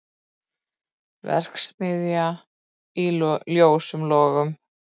Verksmiðja í ljósum logum